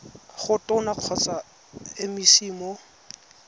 go tona kgotsa mec mo